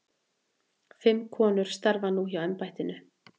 Fimm konur starfi nú hjá embættinu.